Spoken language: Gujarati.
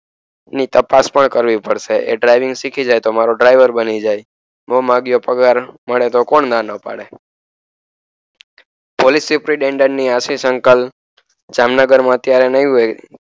ની તપાસપન કરવી પડશે એ draving શીખી જાય તો મારો darver બની જાય મોંમાગીયો પગારમાળે તો કોણ ના નો પાડે પોલીસે આશિષ uncle જામનગર માં અત્યરે નય હોય